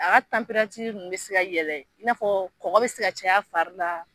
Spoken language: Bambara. A ka ninnu bɛ se ka yɛlɛ i n'a fɔ kɔgɔ bɛ se ka caya fari la.